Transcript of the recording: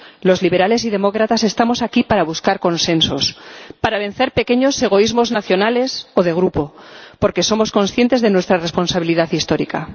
Los liberales y demócratas estamos aquí para buscar consensos, para vencer pequeños egoísmos nacionales o de grupo porque somos conscientes de nuestra responsabilidad histórica.